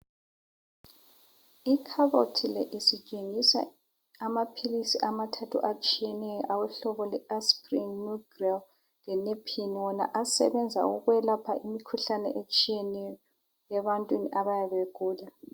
Ikhabothi le isitshengisa amaphilisi amathathu atshiyeneyo awobo hlobo lwe Aspirin , Nugrel le Nepin wona asebenza ukwelapha imikhuhlane etshiyeneyo ebantwini abayabe begula.